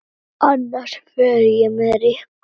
Annars fer ég með Rikku